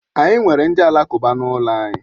Anyị nwere ndị alakụba n'ụlọ anyị.